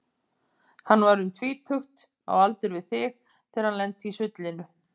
Hann var um tvítugt, á aldur við þig, þegar hann lenti í sullinu.